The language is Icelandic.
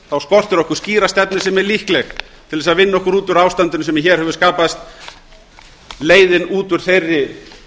þá skortir okkur skýra stefnu sem er líkleg til að vinna okkur út úr ástandinu sem hér hefur skapast leiðin út úr þeirri